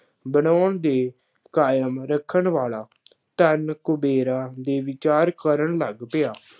ਬਣਾਉਣ ਦੇ ਕਾਇਮ ਰੱਖਣ ਵਾਲਾ ਧੰਨ ਕੁਬੇਰਾ ਦੇ ਵਿਚਾਰ ਕਰਨ ਲੱਗ ਪਿਆ।